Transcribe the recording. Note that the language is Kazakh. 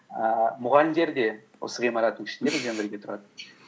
ііі мұғалімдер де осы ғимараттың ішінде бірге тұрады